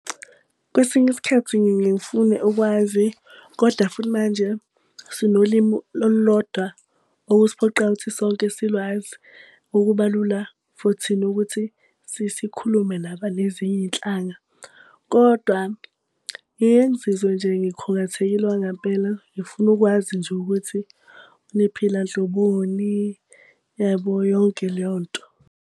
Kwesinye isikhathi ngiye ngifune ukwazi koda futhi manje sinolimu olulodwa okusiphoqayo ukuthi sonke silwazi. Okuba lula for thina ukuthi sikhulume nabanezinye iy'nhlanga. Kodwa ngike ngizizwe nje ngikhungathekile okwangempela, ngifuna ukwazi nje ukuthi niphila nhloboni, yabo yonke leyo nto.